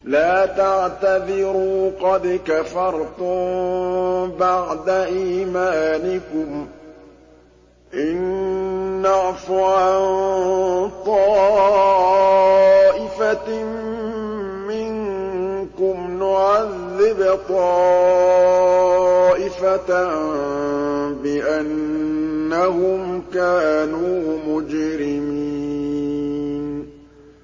لَا تَعْتَذِرُوا قَدْ كَفَرْتُم بَعْدَ إِيمَانِكُمْ ۚ إِن نَّعْفُ عَن طَائِفَةٍ مِّنكُمْ نُعَذِّبْ طَائِفَةً بِأَنَّهُمْ كَانُوا مُجْرِمِينَ